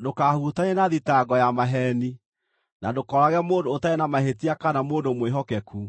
Ndũkahutanie na thitango ya maheeni, na ndũkoorage mũndũ ũtarĩ na mahĩtia kana mũndũ mwĩhokeku,